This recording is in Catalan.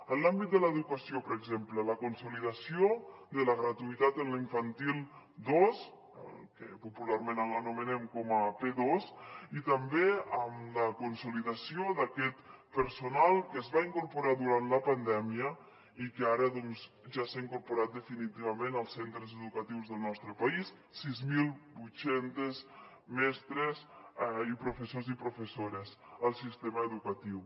en l’àmbit de l’educació per exemple la consolidació de la gratuïtat en l’infantil dos el que popularment anomenem com a p2 i també amb la consolidació d’aquest personal que es va incorporar durant la pandèmia i que ara doncs ja s’ha incorporat definitivament als centres educatius del nostre país sis mil vuit cents mestres i professors i professores al sistema educatiu